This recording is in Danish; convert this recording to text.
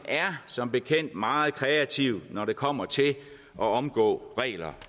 som bekendt meget kreativ når det kommer til at omgå regler